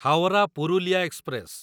Howrah Purulia express